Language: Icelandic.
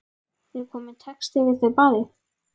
Er kominn texti við þau bæði?